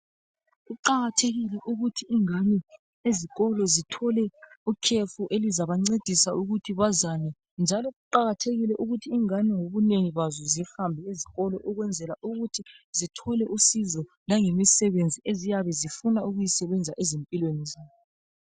Kuqakathekile ukuthi ingane ezikolo zithole ukhefu elizabencedisa ukuthi bazane njalo kuqakathekile ukuthi ingane ngobunengi bazo zihambe esikolo ukwenzela ukuthi zithole usizo langemisebenzi eziyabe zifuna ukuyesebenza ezimpilweni zabo.